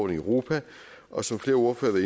europa og som flere ordførere